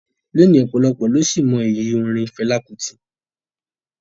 Lónìí, ọ̀pọ̀lọpọ̀ ló sì mọ iyì orin Fẹlá Kútì